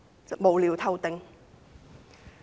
這是無聊透頂的。